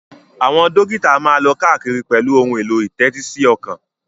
Àwọn dókítà máa ń lọ káàkiri pẹ̀lú ohun èlò ìtẹ́tísíọkàn